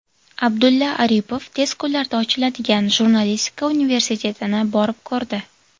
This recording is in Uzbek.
Abdulla Aripov tez kunlarda ochiladigan Jurnalistika universitetini borib ko‘rdi.